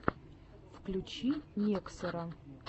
включи некроса